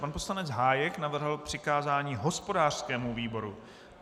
Pan poslanec Hájek navrhl přikázání hospodářskému výboru.